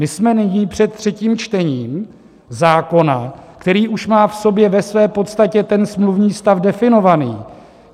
My jsme nyní před třetím čtením zákona, který už má v sobě ve své podstatě ten smluvní stav definovaný.